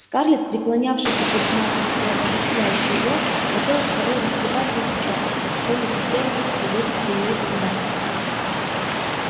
скарлетт преклонявшейся перед матерью и обожествлявшей её хотелось порой растрепать ей причёску и какой-нибудь дерзостью вывести её из себя